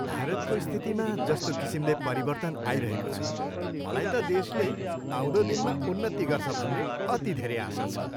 भारतको स्थितिमा जस्तो किसिमले परिवर्तन आइरहेको छ, मलाई त देशले आउँदो दिनमा उन्नति गर्छ भन्ने अति धेरै आशा छ।